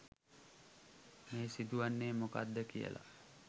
මේ සිදුවෙන්නේ මොකක්ද කියලා.